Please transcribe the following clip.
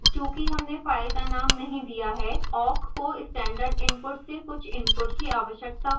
चूँकि हमने फाइल का नाम नहीं दिया है awk को standard input से कुछ input की आवश्यकता होगी